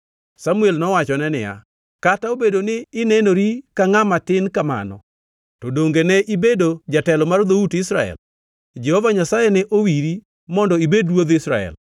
Samuel nowachone niya, “Kata nobedo ni inenori ka ngʼama tin kamano, to donge ne ibedo jatelo mar dhout Israel? Jehova Nyasaye ne owiri mondo ibed ruodh Israel.